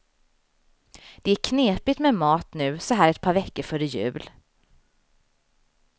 Det är knepigt med mat nu så här ett par veckor före jul.